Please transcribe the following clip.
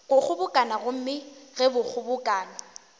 go kgobokano gomme ge kgobokano